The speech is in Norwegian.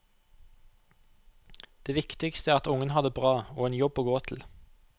Det viktigste er at ungene har det bra og en jobb å gå til.